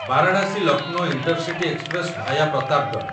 Varanasi Lucknow intercity express via Pratapgarh